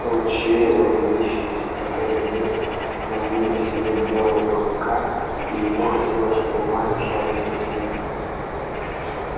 ручей логовище и спокойный лес манили к себе белого клыка и ему хотелось чтобы мать ушла вместе с ним